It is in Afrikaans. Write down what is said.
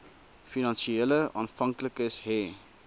finansiële afhanklikes hê